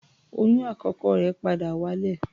Oyún àkọ́kọ́ rẹ̀ padà wálẹ̀.